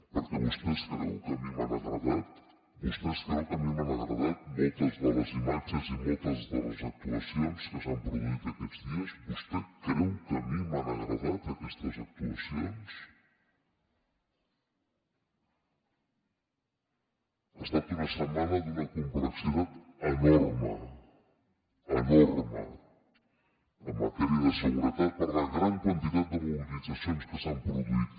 perquè vostè es creu que a mi m’han agradat vostè es creu que a mi m’han agradat moltes de les imatges i moltes de les actuacions que s’han produït aquests dies vostè creu que a mi m’han agradat aquestes actuacions ha estat una setmana d’una complexitat enorme enorme en matèria de seguretat per la gran quantitat de mobilitzacions que s’han produït